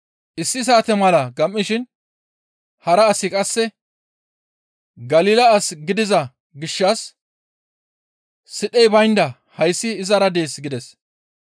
Issi saate mala gam7ishin hara asi qasseka, «Galila as gidiza gishshas sidhey baynda hayssi izara dees» gides.